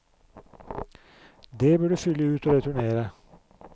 Det bør du fylle ut og returnere.